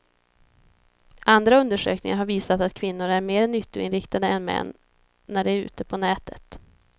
Andra undersökningar har visat att kvinnor är mer nyttoinriktade än män när de är ute på nätet.